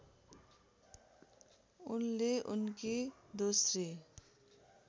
उनले उनकी दोस्री